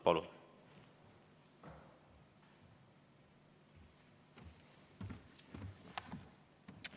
Palun!